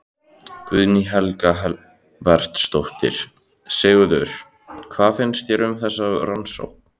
Guðný Helga Herbertsdóttir: Sigurður, hvað finnst þér um þessa rannsókn?